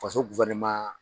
Faso